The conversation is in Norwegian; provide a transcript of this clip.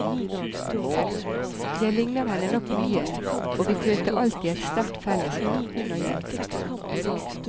Jeg ligner henne nok mye, og vi følte alltid et sterkt fellesskap, hun og jeg.